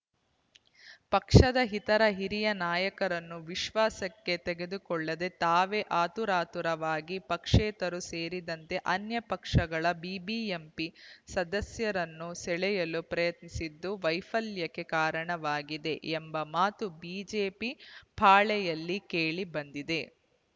ಪಕ್ಷದ ಇತರ ಹಿರಿಯ ನಾಯಕರನ್ನು ವಿಶ್ವಾಸಕ್ಕೆ ತೆಗೆದುಕೊಳ್ಳದೆ ತಾವೇ ಆತುರಾತುರವಾಗಿ ಪಕ್ಷೇತರರೂ ಸೇರಿದಂತೆ ಅನ್ಯ ಪಕ್ಷಗಳ ಬಿಬಿಎಂಪಿ ಸದಸ್ಯರನ್ನು ಸೆಳೆಯಲು ಪ್ರಯತ್ನಿಸಿದ್ದು ವೈಫಲ್ಯಕ್ಕೆ ಕಾರಣವಾಗಿದೆ ಎಂಬ ಮಾತು ಬಿಜೆಪಿ ಪಾಳೆಯಲ್ಲಿ ಕೇಳಿಬಂದಿದೆ